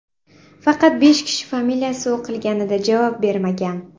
Faqat besh kishi familiyasi o‘qilganida javob bermagan.